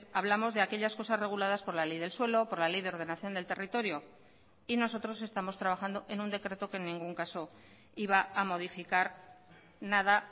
hablamos de aquellas cosas reguladas por la ley del suelo por la ley de ordenación del territorio y nosotros estamos trabajando en un decreto que en ningún caso iba a modificar nada